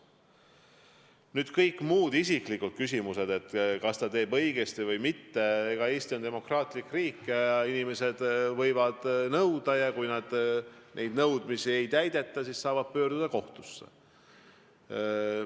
Mis puudutab kõiki muid isiklikke küsimusi, kas ta teeb õigesti või mitte, siis Eesti on demokraatlik riik, inimesed võivad midagi nõuda ja kui neid nõudmisi ei täideta, siis nad saavad pöörduda kohtusse.